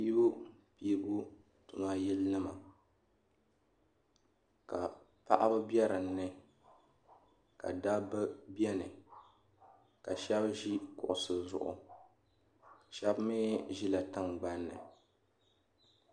Piibu piibu tuma yili nima ka paɣaba bɛ din ni ka dabba bɛni ka shɛba ʒi kuɣusi zuɣu shɛba mi ʒila tingban ni.